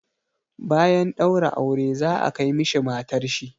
Bayan ɗaura aure za a kai mishi matar shi.